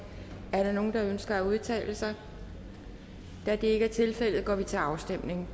er der nogen der ønsker at udtale sig da det ikke er tilfældet går vi til afstemning